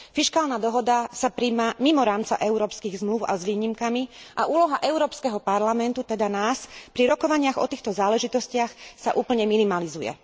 Fiškálna dohoda sa prijíma mimo rámca európskych zmlúv a s výnimkami a úloha Európskeho parlamentu, teda nás, pri rokovaniach o týchto záležitostiach sa úplne minimalizuje.